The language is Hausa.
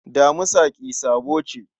Damisa ƙi sabo ce.